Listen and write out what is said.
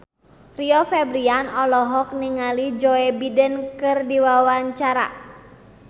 Rio Febrian olohok ningali Joe Biden keur diwawancara